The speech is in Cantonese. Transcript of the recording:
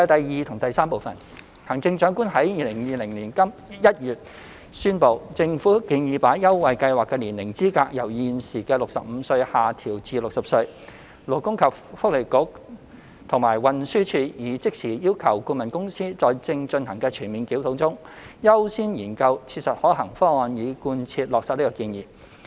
二及三行政長官在2020年1月宣布，政府建議把優惠計劃的年齡資格由現時的65歲下調至60歲。勞工及福利局和運輸署已即時要求顧問公司在正進行的全面檢討中，優先研究切實可行的方案，以貫徹落實這建議。